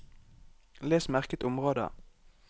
Les merket område